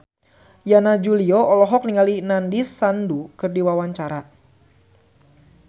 Yana Julio olohok ningali Nandish Sandhu keur diwawancara